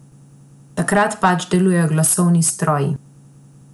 Takrat pač delujejo glasovalni stroji.